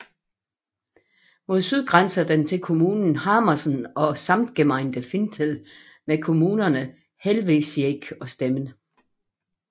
Mod syd grænser den til kommunen Hamersen og Samtgemeinde Fintel med kommunerne Helvesiek og Stemmen